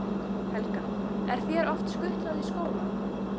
Helga: Er þér oft skutlað í skólann?